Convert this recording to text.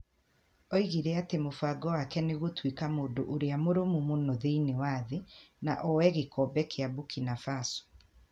Oigire atĩ mũbango wake nĩ gũtuĩka mũndũ ũrĩa mũrũmu mũno thĩinĩ wa thĩ . Na ooye gĩkombe kĩa Burkina Faso.